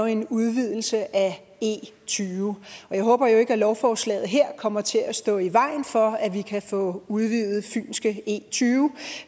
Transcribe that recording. en udvidelse af e20 og jeg håber ikke at lovforslag kommer til at stå i vejen for at vi kan få udvidet fynske e20